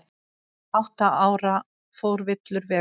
Átta ára fór villur vega